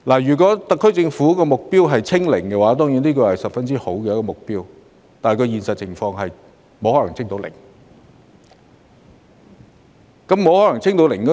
如果特區政府的目標是"清零"——當然，這是個非常好的目標，只是在現實環境中，"清零"是不可能的事。